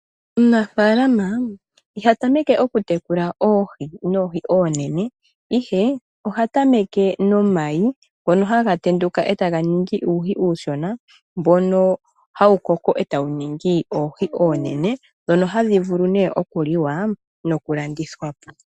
Omunafaalama iha tameke oku tekula oohi noohi oonene. Ihe oha tameke nomayi ngono haga tenduka eta ga ningi uuhi uushona. Mbono hawu koko etawu ningi oohi oonene ndhono hadhi vulu nee oku liwa noku landithwa po.